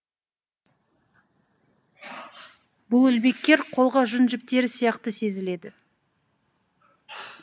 бұл ілмектер қолға жүн жіптері сияқты сезіледі